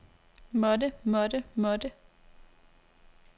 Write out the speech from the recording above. måtte måtte måtte